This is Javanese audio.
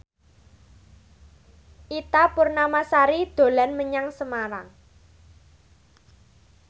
Ita Purnamasari dolan menyang Semarang